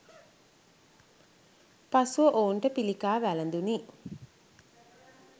පසුව ඔවුන්ට පිළිකා වළඳුණි.